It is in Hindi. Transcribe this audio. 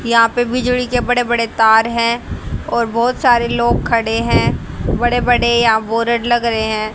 यहां पे बिजली के बड़े बड़े तार हैं और बहोत सारे लोग खड़े हैं बड़े बड़े यहा बोरड लग रहे हैं।